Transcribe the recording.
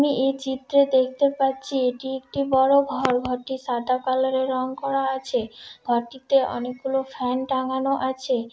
আমি এই চিত্রে দেখতে পাচ্ছি এটি একটি বড় ঘর ঘরটি সাদা কালার এর রং করা আছে ঘরটিতে অনেকগুলো ফ্যান টাঙ্গানো আছে ।